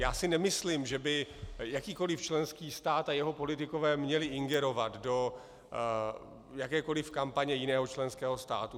Já si nemyslím, že by jakýkoliv členský stát a jeho politikové měli ingerovat do jakékoliv kampaně jiného členského státu.